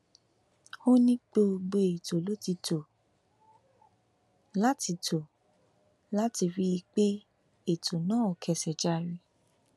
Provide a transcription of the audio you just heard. ó ní gbogbo ètò ló ti tó láti tó láti rí i pé ètò náà kẹsẹ járí